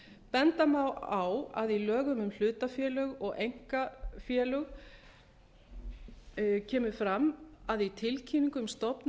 benda má á að í lögum um hlutafélög og um einkahlutafélög kemur fram að í tilkynningu um stofnun